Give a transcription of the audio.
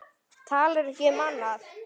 Talar ekki um annað.